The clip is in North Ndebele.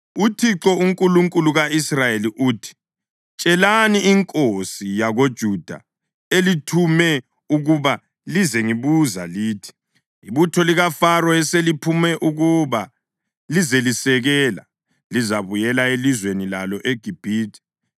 “ UThixo, uNkulunkulu ka-Israyeli uthi, tshelani inkosi yakoJuda elithume ukuba lizengibuza lithi, ‘Ibutho likaFaro eseliphume ukuba lizelisekela, lizabuyela elizweni lalo eGibhithe.